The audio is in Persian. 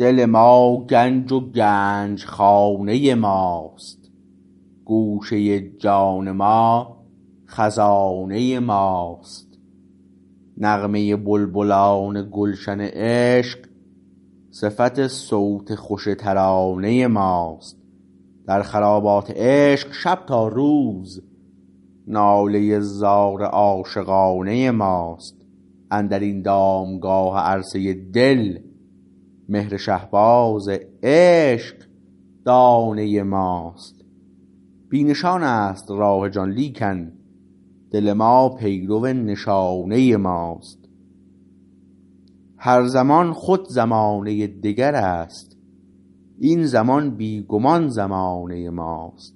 دل ما گنج و گنجخانه ماست گوشه جان ما خزانه ماست نغمه بلبلان گلشن عشق صفت صوت خوش ترانه ماست در خرابات عشق شب تا روز ناله زار عاشقانه ماست اندر این دامگاه عرصه دل مهر شهباز عشق دانه ماست بی نشان است راه جان لیکن دل ما پیرو نشانه ماست هر زمان خود زمانه دگر است این زمان بی گمان زمانه ماست